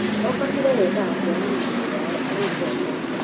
o kabira yendaga kuona mũndũ wao agĩtongoria